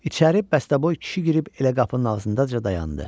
İçəri bəstəboy kişi girib elə qapının ağzında da dayandı.